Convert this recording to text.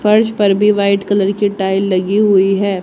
फर्श पर भी व्हाइट कलर की टाइल लगी हुई है।